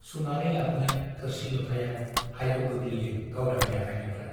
सुनानै लाबोनाय थोरसि - लथाया हायाव गोग्लैयो गावदांनि आखायनिफ्राइ ।